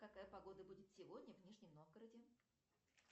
какая погода будет сегодня в нижнем новгороде